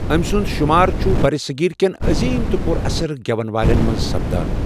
أمۍ سُند شُمار چھُ برِ صغیر کٮ۪ن عظیم تہٕ پُر اثر گٮ۪ون والٮ۪ن منٛز سپدان ۔